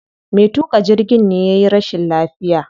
Me tuƙa jirgin ne yayi rashin lafiya.